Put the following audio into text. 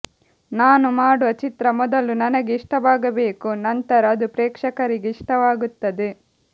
ನಾನು ಮಾಡುವ ಚಿತ್ರ ಮೊದಲು ನನಗೆ ಇಷ್ಟವಾಗಬೇಕು ನಂತರ ಅದು ಪ್ರೇಕ್ಷಕರಿಗೆ ಇಷ್ಟವಾಗುತ್ತದೆ